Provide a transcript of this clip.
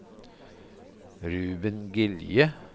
Ruben Gilje